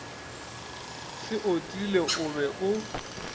se otile o be o